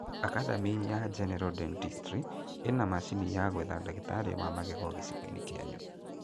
Academy ya General Denstistry ĩna macini ya gwetha ndagĩtarĩ wa magego gĩcigo-inĩ kĩanyu